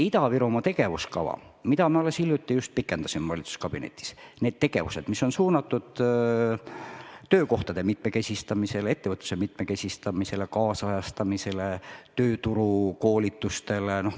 Ida-Virumaa tegevuskava, mida me valitsuskabinetis alles hiljuti pikendasime, sisaldab tegevusi, mis on suunatud töökohtade mitmekesistamisele, ettevõtluse ajakohastamisele ja tööturukoolitustele.